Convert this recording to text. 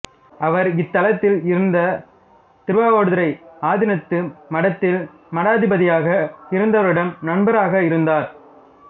அவர் இத்தலத்தில் இருந்த திருவாவடுதுறை ஆதீனத்து மடத்தில் மடாதிபதியாக இருந்தவரிடம் நண்பராக இருந்தார்